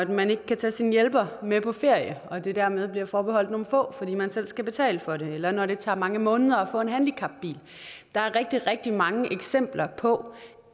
man ikke kan tage sin hjælper med på ferie og det dermed bliver forbeholdt nogle få fordi man selv skal betale for det eller når det tager mange måneder at få en handicapbil der er rigtig rigtig mange eksempler på